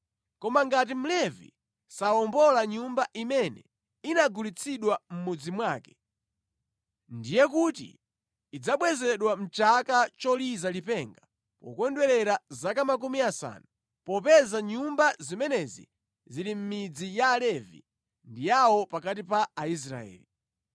Koma ngati Mlevi sawombola nyumba imene inagulitsidwa mʼmudzi mwake, ndiye kuti idzabwezedwe mʼchaka choliza lipenga pokondwerera zaka makumi asanu, popeza nyumba zimenezi zili mʼmidzi ya Alevi ndi yawo pakati pa Aisraeli.